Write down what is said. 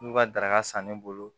N'u ka daraka san ne bolo